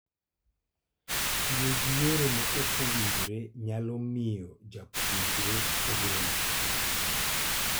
Tiyo gi yore maok owinjore nyalo miyo japuonjre orem.